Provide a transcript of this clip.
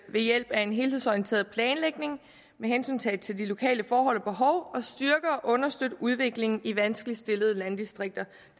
ved hjælp af en helhedsorienteret planlægning med hensyntagen til de lokale forhold og og understøtte udviklingen i vanskeligt stillede landdistrikter